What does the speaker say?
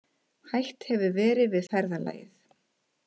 Hætt hefur verið við ferðalagið